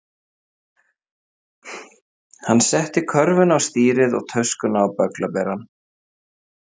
Hann setti körfuna á stýrið og töskuna á bögglaberann.